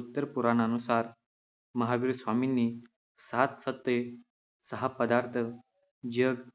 उत्तर पुराणानुसार, महावीर स्वामींनी सात तत्त्वे, सहा पदार्थ, जग